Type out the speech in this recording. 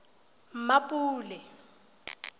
mmapule